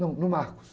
Não, no Marcos.